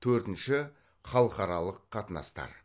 төртінші халықаралық қатынастар